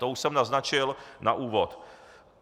To už jsem naznačil na úvod.